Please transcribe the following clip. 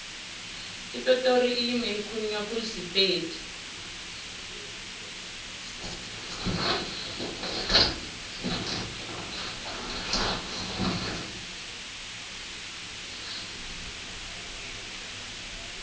epitori ilimi elikhulunywa khulu sipedi